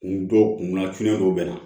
N dɔw kunna fiinɛ dɔ be na